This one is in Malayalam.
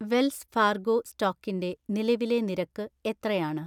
വെൽസ് ഫാർഗോ സ്റ്റോക്കിന്റെ നിലവിലെ നിരക്ക് എത്രയാണ്